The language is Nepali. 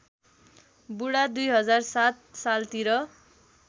बुढा २००७ सालतिर